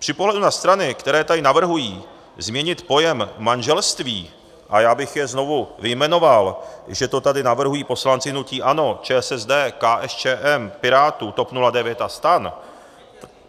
Při pohledu na strany, které tady navrhují změnit pojem manželství, a já bych je znovu vyjmenoval, že to tady navrhují poslanci hnutí ANO, ČSSD, KSČM, Pirátů, TOP 09 a STAN,